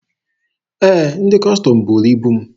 Ee, ndị Kọstọm buuru ibu m.